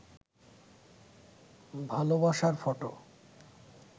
ভালবাসার ফটো